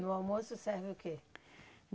No almoço serve o quê?